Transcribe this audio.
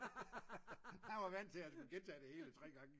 han var vant til at han skulle gentage det hele 3 gange